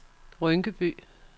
Rynkeby